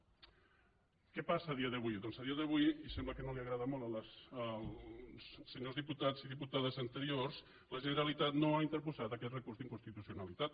què passa a dia d’avui doncs a dia d’avui sembla que no agrada molt als senyors diputats i diputades anteriors la generalitat no ha interposat aquest recurs d’inconstitucionalitat